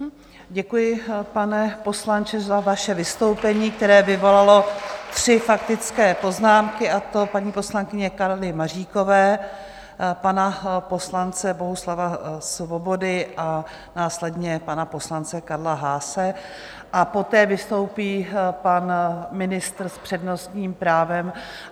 Děkuji, pane poslanče, za vaše vystoupení, které vyvolalo tři faktické poznámky, a to paní poslankyně Karly Maříkové, pana poslance Bohuslava Svobody a následně pana poslance Karla Haase, a poté vystoupí pan ministr s přednostním právem.